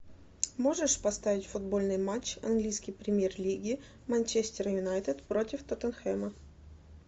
можешь поставить футбольный матч английской премьер лиги манчестер юнайтед против тоттенхэма